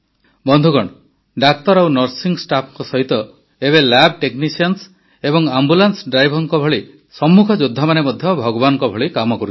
ବନ୍ଧୁଗଣ ଡାକ୍ତର ଓ ନର୍ସିଂ ଷ୍ଟାଫ୍ଙ୍କ ସହିତ ଏବେ ଲାବଟେକନିସିଆନ୍ସ ଏବଂ ଆମ୍ବୁଲାନ୍ସ ଡ୍ରାଇଭର୍ସ ଭଳି ସମ୍ମୁଖ ଯୋଦ୍ଧାମାନେ ମଧ୍ୟ ଭଗବାନଙ୍କ ଭଳି କାମ କରୁଛନ୍ତି